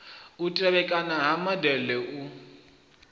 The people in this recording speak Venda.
u tevhekana ha modele u